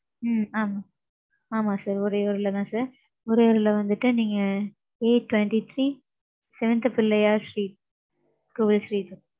ம்ம் ஆமாம் ஆமாம் sir உறையூர்ல தான் sir. உரியர்ல வந்துட்டு நீங்க A twenty three, seventh, Pillaiyar street, Kovil street,